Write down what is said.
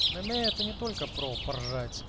мне это не только про пожар